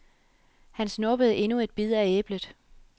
Han snuppede endnu en bid af æblet.